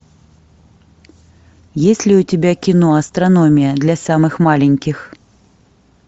есть ли у тебя кино астрономия для самых маленьких